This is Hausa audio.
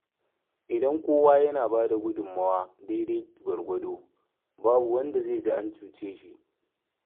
Idan kowa yana bada gudunmawa daidai gwargwado, babu wanda zai ji an cuce shi.